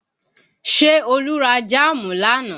Ṣé Olú ra jáàmù lánàá?